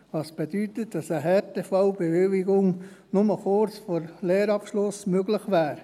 Das bedeutet, dass eine Härtefallbewilligung nur kurz vor Lehrabschluss möglich wäre.